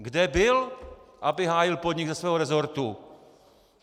Kde byl, aby hájil podnik ze svého resortu?!